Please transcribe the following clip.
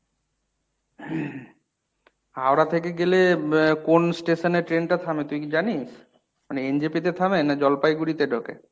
হাওড়া থেকে গেলে এর কোন station এ train টা থামে তুই কী জানিস? মানে NJP তে থামে না জলপাইগুড়িতে ঢোকে?